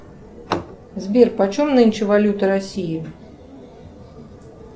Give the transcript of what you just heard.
сбер почем нынче валюта россии